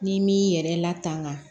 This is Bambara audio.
N'i m'i yɛrɛ latanga